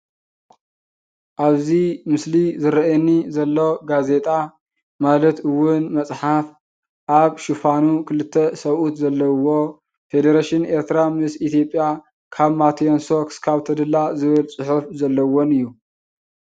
ኣብዚ ምስሊ ዝርኣየኒ ዘሎ ጋዜጣ ማለት እውን መፅሓፍ ኣብ ሽፋኑ ክልተ ስብኡት ዘለውዎ ፊደረሽን ኤርትራ ምስ ኢትዮጵያ ካብ ማቲየንሶ ክሳበ ተድላ ዝብል ፅሑፍ ዘለዎን እዩ።